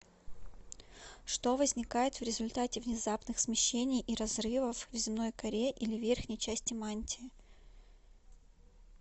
что возникает в результате внезапных смещений и разрывов в земной коре или верхней части мантии